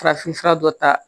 Farafinfura dɔ ta